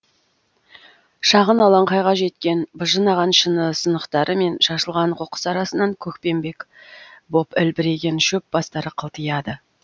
шағын алаңқайға жеткен быжынаған шыны сынықтары мен шашылған қоқыс арасынан көкпеңбек боп ілбіреген шөп бастары қылтияды